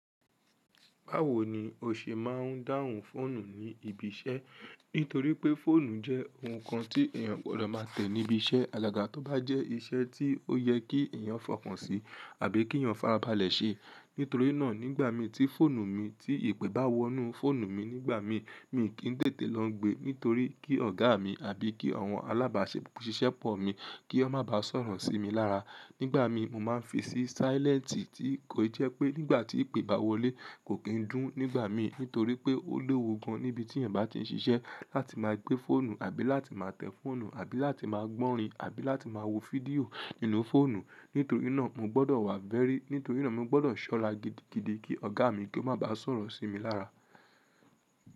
Báwo ni o ṣe máa ń dáhùn fóònù ní ibi iṣẹ́? Nítorí pé fóònù jẹ́ ohun kan tí èèyàn gbọ́dọ̀ máa tẹ̀ níbi iṣẹ́ alága, tó bá jẹ́ iṣẹ́ tí ó yẹ kí èèyàn fọkàn sí àbí kí èèyàn fara balẹ̀ ṣe. Nítorí náà, nígbà mi tí fóònù mi, tí ìpè bá wọnú fóònù mi nígbà mi, mi kì í tètè lọ gbé, nítorí kí ọ̀gá mi àbí kí àwọn alábàáṣepọ̀ ṣíṣe pọ̀ mi, kí wọ́n má bá sọ̀rọ̀ sí mi lára. Nígbà mi, mo máa ń fi sí silent tí kò jẹ́ pé nígbà tí ìpè bá wọlé, kò kí ń dùn nígbà mi, nítorí pé ó lewu gan níbi tí ẹ̀yań bá ti ń ṣiṣẹ́ láti máa gbé fóònù àbí láti máa tẹ̀ fóònù àbí láti máa gbọ́rin àbí láti máa wo fídíò nínú fóònù. Nítorí náà, mo gbọ́dọ̀ wá very, nítorí náà mo gbọ́dọ̀ ṣọ́rá gidigidi kí ọ̀gá mi kí ó má bá sọ̀rọ̀ sí mi lára.